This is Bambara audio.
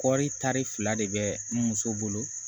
Kɔɔri tari fila de bɛ n bolo